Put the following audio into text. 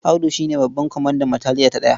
Audu shi ne babban kwamandan bataliya ta ɗaya.